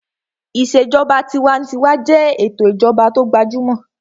Ìṣèjọba tinwatinwa jẹ́ ètò ìjọba tó gbajúmọ̀